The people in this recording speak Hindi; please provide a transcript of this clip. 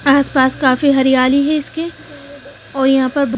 आस पास काफी हरियाली है इसके और यहां पर--